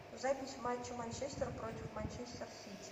запись матча манчестер против манчестер сити